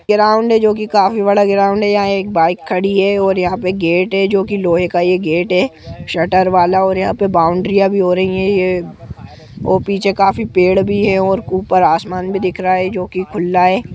Ground है जोकी काफी बड़ा ग्राउन्ड है यहाँ एक बाइक खड़ी है और यहाँ पे गेट है जोकी लोहे का यह गेट है शटर वाला और यहाँ पे बाउंड्रीया भी हो रही है अ और पीछे काफी पेड़ भी है ऊपर आसमान भी दिख रहा है जोकि खुला है।